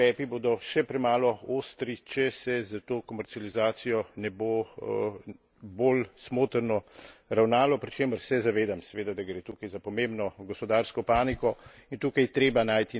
Mislim pa, da vsi ti ukrepi bodo še premalo ostri, če se s to komercializacijo ne bo bolj smotrno ravnalo, pri čemer se zavedam seveda, da gre tukaj za pomembno gospodarsko panogo.